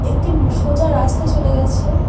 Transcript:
একটিম সোজা রাস্তা চলে গেছে।